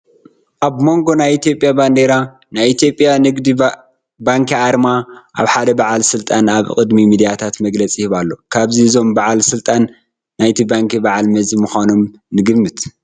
ኣብ ሞንጎ ናይ ኢትዮጵያ ባንዴራን ናይ ኢትዮጵያ ንግዲ ባንኪን ኣርማ ሓደ በዓል ስልጣን ኣብ ቅድሚ ሚድያታት መግለፂ ይህቡ ኣለዉ፡፡ ካብዚ እዞም በዓል ስልጣን ናይቲ ባንኪ በዓል መዚ ምዃኖም ንግምት፡፡